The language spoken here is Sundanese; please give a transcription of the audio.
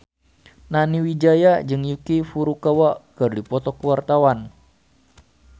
Nani Wijaya jeung Yuki Furukawa keur dipoto ku wartawan